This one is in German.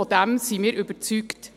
Davon sind wir überzeugt.